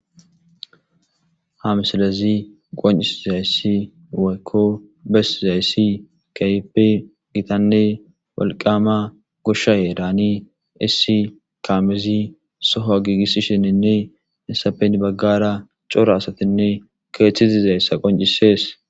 ha msilezi qoncisizayssi woykko besizayssi kehope gitanne walqama gosha ye daani issi kamezi soho giigisisheninne isapen baggara cora asatinne keeththizi zayssa qoncisees